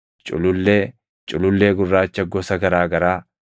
culullee, culullee gurraacha gosa garaa garaa,